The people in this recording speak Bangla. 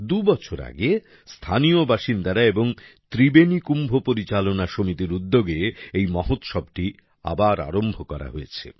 দুবছর আগে স্থানীয় বাসিন্দারা এবং ত্রিবেণী কুম্ভ পরিচালনা সমিতির উদ্যোগে এই মহোৎসবটি আবার আরম্ভ করা হয়েছে